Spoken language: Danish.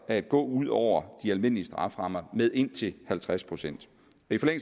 at gå ud over de almindelige strafferammer med indtil halvtreds procent